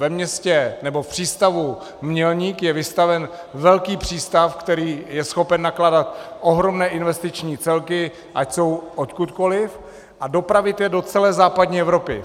Ve městě, nebo v přístavu Mělník je vystavěn velký přístav, který je schopen nakládat ohromné investiční celky, ať jsou odkudkoli, a dopravit je do celé západní Evropy.